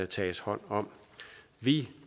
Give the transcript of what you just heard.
tages hånd om vi